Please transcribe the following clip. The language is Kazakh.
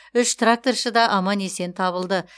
үш тракторшы да аман есен табылды